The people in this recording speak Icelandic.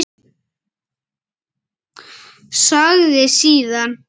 Sagði síðan